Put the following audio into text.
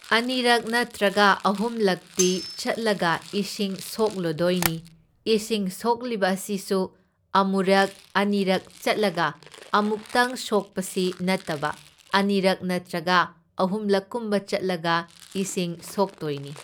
ꯑꯅꯤꯔꯛ ꯅꯠꯇ꯭ꯔꯒ ꯑꯍꯨꯝꯂꯛꯇꯤ ꯆꯠꯂꯒ ꯏꯁꯤꯡ ꯁꯣꯛꯂꯨꯗꯣꯏꯅꯤ, ꯏꯁꯤꯡ ꯁꯣꯛꯂꯤꯕ ꯑꯁꯤꯁꯨ ꯑꯃꯨꯔꯛ ꯑꯅꯤꯔꯛ ꯆꯠꯂꯒ ꯑꯃꯨꯛꯇꯪ ꯁꯣꯛꯄꯁꯤ ꯅꯠꯇꯕ ꯑꯅꯤꯔꯛ ꯅꯠꯇ꯭ꯔꯒ ꯑꯍꯨꯝꯂꯛꯀꯨꯝꯕ ꯆꯠꯂꯒ ꯏꯁꯤꯡ ꯁꯣꯛꯇꯣꯏꯅꯤ꯫